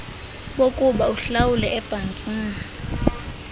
bokuba uhlawule ebhankini